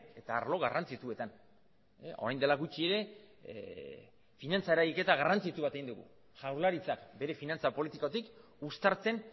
eta arlo garrantzitsuetan orain dela gutxi ere finantza eragiketa garrantzitsu bat egin digu jaurlaritzak bere finantza politikotik uztartzen